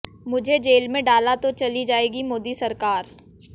मुझे जेल में डाला तो चली जाएगी मोदी सरकार